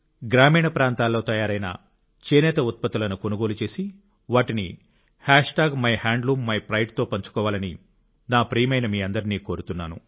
గ్రామీణ ప్రాంతాల్లో తయారైన చేనేత ఉత్పత్తులను కొనుగోలు చేసి వాటిని మైహాండ్లూమ్మిప్రైడ్ అనే హాష్ ట్యాగ్ తో పంచుకోవాలని నా ప్రియ సోదరులైన మీ అందరినీ కోరుతున్నాను